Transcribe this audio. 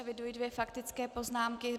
Eviduji dvě faktické poznámky.